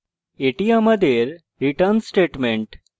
এটি আমাদের return statement